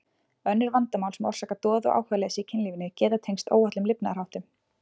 Önnur vandamál sem orsaka doða og áhugaleysi í kynlífinu geta tengst óhollum lifnaðarháttum.